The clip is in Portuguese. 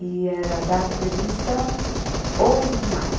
E era a data prevista, onze de maio.